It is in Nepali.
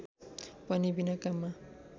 पनि बिना काममा